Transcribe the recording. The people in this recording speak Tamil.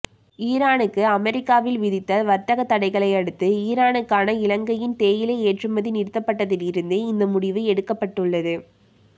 ஈரானுக்கு அமெரிக்கா விதித்த வர்த்தக தடைகளை அடுத்து ஈரானுக்கான இலங்கையின் தேயிலை ஏற்றுமதி நிறுத்தப்பட்டதிலிருந்து இந்த முடிவு எடுக்கப்பட்டுள்ளது